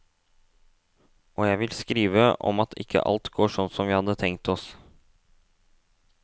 Og jeg vil skrive om at ikke alt går sånn som vi hadde tenkt oss.